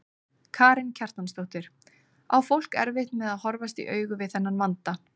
Karen Kjartansdóttir: Á fólk erfitt með að horfast í augu við þennan vanda?